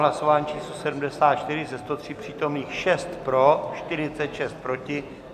Hlasování číslo 74, ze 103 přítomných 6 pro, 46 proti.